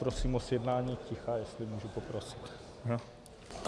Prosím o zjednání ticha, jestli můžu poprosit.